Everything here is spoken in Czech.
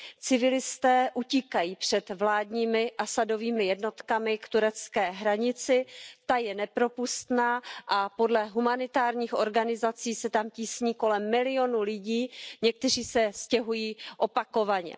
Civilisté utíkají před vládními Asadovými jednotkami k turecké hranici, ta je nepropustná a podle humanitárních organizací se tam tísní kolem milionu lidí, někteří se stěhují opakovaně.